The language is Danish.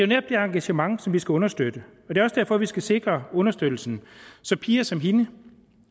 netop det engagement som vi skal understøtte er også derfor vi skal sikre understøttelsen så piger som hende